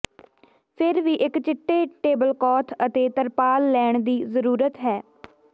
ਫਿਰ ਵੀ ਇੱਕ ਚਿੱਟੇ ਟੇਬਲਕੌਥ ਅਤੇ ਤਰਪਾਲ ਲੈਣ ਦੀ ਜ਼ਰੂਰਤ ਹੈ